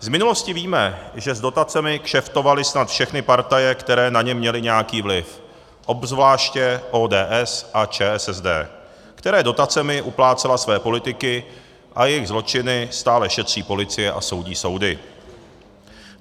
Z minulosti víme, že s dotacemi kšeftovaly snad všechny partaje, které na ně měly nějaký vliv - obzvláště ODS a ČSSD, které dotacemi uplácely své politiky, a jejich zločiny stále šetří policie a soudí soudy.